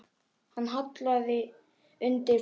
Hann hallaði undir flatt.